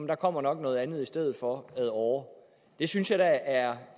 der kommer nok noget andet i stedet for ad åre det synes jeg da er